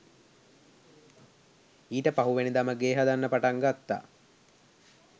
ඊට පහුවෙනිදම ගේ හදන්න පටන් ගත්තා